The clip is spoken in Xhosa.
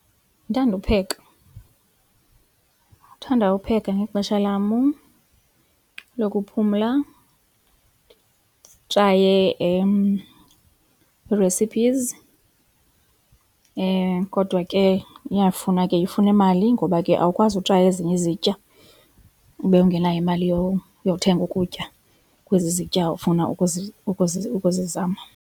Ndithanda upheka, ndithanda upheka ngexesha lam lokuphumla nditraye ii-recipes kodwa ke iyafuna ke ifuna imali ngoba ke awukwazi utraya ezinye izitya ube ungenayo imali yothenga ukutya kwezi zitya ufuna ukuzi, ukuzi, ukuzi zama.